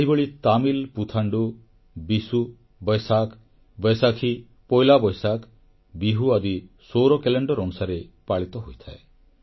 ସେହିଭଳି ତମିଲ୍ ପୁଥାଣ୍ଡୁ ବିଶୁ ବୈଶାଖ୍ ବୈଶାଖୀ ପୋଇଲା ବୈଶାଖ ବିହୁ ଆଦି ସୌର କ୍ୟାଲେଣ୍ଡର ଅନୁସାରେ ପାଳିତ ହୋଇଥାଏ